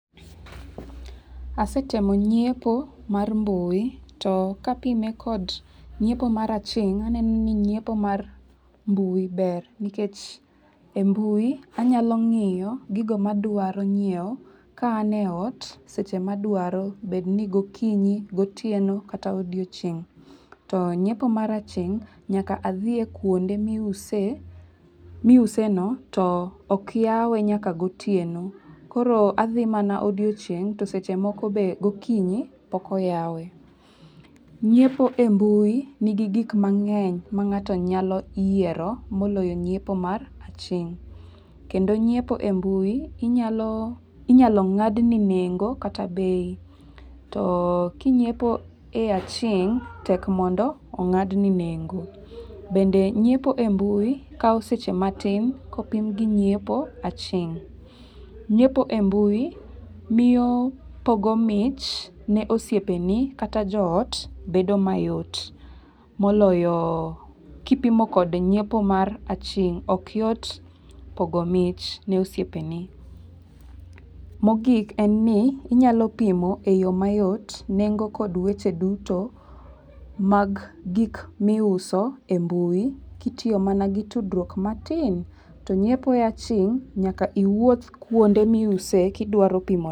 Asetemo nyiepo mar mbui to kapime kod nyiepo mar aching', aneno ni nyiepo mar mbui ber nikech e mbui anyalo ng'iyo gigo madwaro nyiewo ka an e ot seche madwaro bed ni gokinyi, gotieno kata odiochieng'. To nyiepo mar aching', nyaka adhie kuonde miuse miuseno to ok yawe nyaka gotieno koro adhi mana odiochieng' to seche moko be gokinyi pokoyawe. Nyiepo e mbui nigi gik mang'eny mang'ato nyalo yiero moloyo nyiepo mar aching' kendo, nyiepo e mbui inyaloo inyalo ng'ad nengo kata bei to kinyiepo e aching' tek mondo ong'adni nengo bende nyiepo e mbui kao seche matin kopim gi nyiepo aching'. Nyiepo e mbui miyo pogo mich ne osiepeni kata joot bedo mayot moloyo kipimo kod nyiepo mar aching' ok yot pogo mich ne osiepeni. Mogik en ni inyalo pimo e yoo mayot nengo kod weche duto mag gik miuso e mbui kitiyo mana gi tudruok matin to nyiepo e aching' nyaka iwuoth kuonde miuse eki